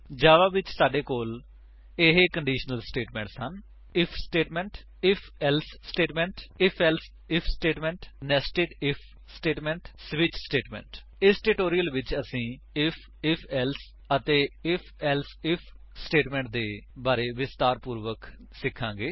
ਜਾਵਾ ਵਿੱਚ ਸਾਡੇ ਕੋਲ ਇਹ ਕੰਡੀਸ਼ਨਲ ਸਟੇਟਮੇਂਟਸ ਹਨ IF statement IF else statement IF else IF statement nested IF statement switch statement ਇਸ ਟਿਊਟੋਰਿਅਲ ਵਿੱਚ ਅਸੀ ਆਈਐਫ ਆਈਐਫ ਏਲਸੇ ਅਤੇ ਆਈਐਫ ਏਲਸੇ ਆਈਐਫ ਸਟੇਟਮੇਂਟਸ ਦੇ ਬਾਰੇ ਵਿਸਤਾਰਪੂਰਵਕ ਸਿਖਾਂਗੇ